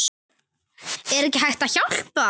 Er hægt að hjálpa?